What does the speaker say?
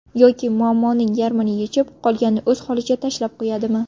Yoki muammoning yarmini yechib, qolganini o‘z holicha tashlab qo‘yadimi?